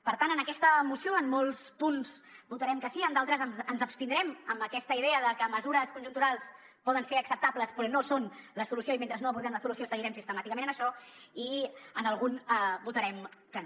per tant en aquesta moció en molts punts votarem que sí en d’altres ens abstindrem amb aquesta idea de que mesures conjunturals poden ser acceptables però no són la solució i mentre no abordem la solució seguirem sistemàticament en això i en algun votarem que no